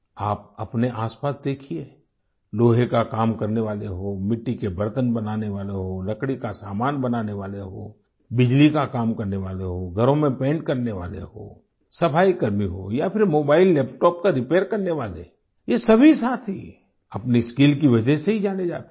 आप अपने आसपास देखिए लोहे का काम करने वाले हों मिट्टी के बर्तन बनाने वाले हों लकड़ी का सामान बनाने वाले हो बिजली का काम करने वाले हों घरों में पेंट करने वाले हों सफाईकर्मी हों या फिर मोबाइललैपटॉप का रिपेयर करने वाले ये सभी साथी अपनी स्किल की वजह से ही जाने जाते हैं